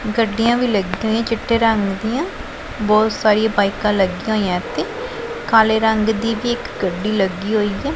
ਗੱਡੀਆਂ ਵੀ ਲੱਗਿਆਂ ਹੋਈਆਂ ਚਿੱਟੇ ਰੰਗ ਦਿਆਂ ਬਹੁਤ ਸਾਰੀਆਂ ਬਾਇਕਾਂ ਲੱਗੀਆਂ ਹੋਈਆਂ ਅਤੇ ਕਾਲੇ ਰੰਗ ਦੀ ਵੀ ਇੱਕ ਗੱਡੀ ਲੱਗੀ ਹੋਈ ਹੈ।